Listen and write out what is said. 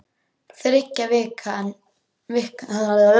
Þriggja vikna sólskinsbjört tilvera var fram undan.